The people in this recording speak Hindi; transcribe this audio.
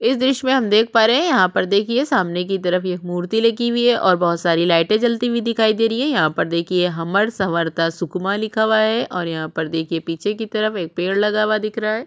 इस द्र्श्य में हम देख पा रहै है यहाँ पर देखिए सामने की तरफ एक मूर्ति लगी हुई है ओर बहुत सारी लाइटे जलती हुई दिखाई दे रही है यहाँ पर देखिए हमर सँवरता सुकमा लिखा हुआ है और यहाँ पर देखिए पीछे की तरफ एक पेड़ लगा हुआ है।